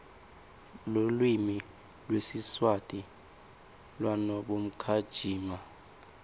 lulwimi lwesiswati wnabonkhamija